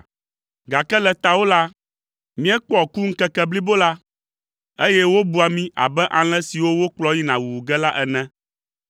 Gake le tawò la, míekpɔa ku ŋkeke blibo la, eye wobua mí abe alẽ siwo wokplɔ yina wuwu ge la ene.